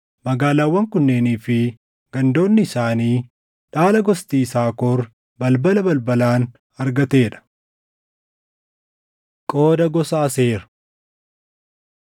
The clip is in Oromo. Magaalaawwan kunneenii fi gandoonni isaanii dhaala gosti Yisaakor balbala balbalaan argatee dha. Qooda Gosa Aseer